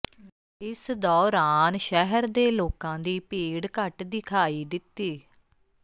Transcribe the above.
ਇਸ ਦੌਰਾਨ ਸ਼ਹਿਰ ਦੇ ਲੋਕਾਂ ਦੀ ਭੀੜ ਘੱਟ ਦਿਖਾਈ ਦਿੱਤੀ